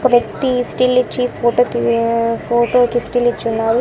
Tea still ఇచ్చి photo తీయ photo కి స్టిల్ ఇచ్చున్నారు.